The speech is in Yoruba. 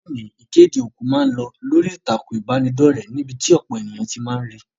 Loni, ìkéde òkú ma n lo lórí ìtàkùn ìbánidọ́rẹ̀ níbí ti ọ̀pọ̀ éyàn ti ma ri